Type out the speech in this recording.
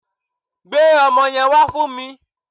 Gbe ọmọ yẹn wá fún mi